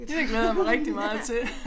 Det glæder jeg mig rigtig meget til